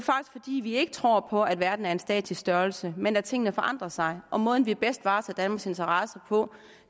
fordi vi ikke tror på at verden er en statisk størrelse men at tingene forandrer sig og måden vi bedst varetager danmarks interesser på